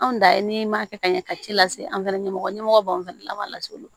Anw da ye n'i m'a kɛ ka ɲɛ ka ci lase an fana ɲɛmɔgɔ ɲɛmɔgɔ b'an fana laban lase olu ma